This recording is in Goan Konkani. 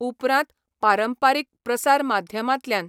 उपरांत पारंपारीक प्रसार माध्यमांतल्यान.